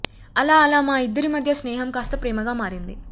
అలా అలా మా ఇద్దరి మధ్యా స్నేహం కాస్తా ప్రేమగా మారింది